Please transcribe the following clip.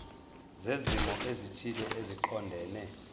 zezimo ezithile eziqondene